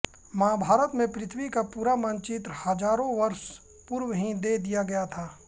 महाभारत में पृथ्वी का पूरा मानचित्र हजारों वर्ष पूर्व ही दे दिया गया था